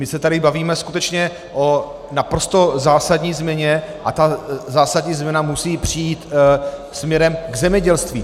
My se tady bavíme skutečně o naprosto zásadní změně a ta zásadní změna musí přijít směrem k zemědělství.